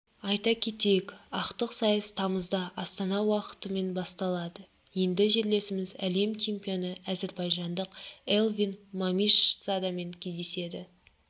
айта кетейік ақтық сайыс тамызда астана уақытымен басталады енді жерлесіміз әлем чемпионы әзербайжандық эльвин мамишзадемен кездеседі